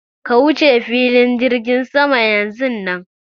Ka wuce filin jirgin sama yanzun nan!